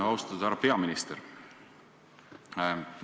Austatud härra peaminister!